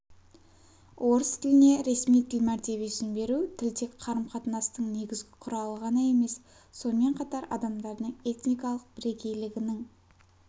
орыс тіліне ресми тіл мәр сін беру тіл тек қарым-қатынастың негізгі құралы ғана емес сонымен қатар адамдардың этникалық бірегейлігінің